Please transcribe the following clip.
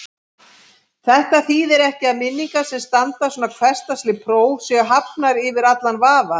Þetta þýðir ekki að minningar sem standast svona hversdagsleg próf séu hafnar yfir allan vafa.